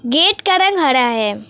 Gate का रंग हरा है।